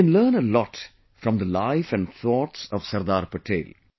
We can learn a lot from the life and thoughts of Sardar Patel